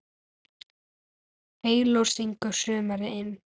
Heyló syngur sumarið inn